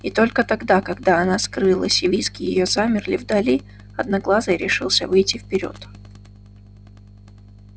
и только тогда когда она скрылась и визги её замерли вдали одноглазый решился выйти вперёд